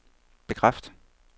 bekræft